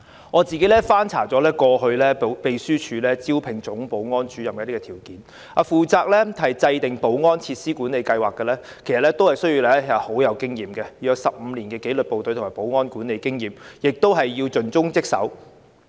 我曾翻查過去秘書處招聘總保安主任的條件，包括負責制訂保安設施管理計劃的員工需要具備15年紀律部隊及保安管理經驗，以及要盡忠職守。